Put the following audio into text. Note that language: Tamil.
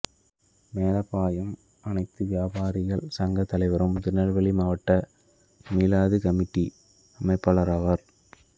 மேலப்பாயைம் அனைத்து வியாபாரிகள் சங்கத் தலைவரும் திருநெல்வேலி மாவட்ட மீலாது கமிட்டி அமைப்பாளருமாவார்